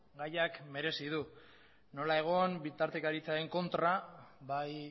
gaiak merezi du nola egon bitartekaritzaren kontra bai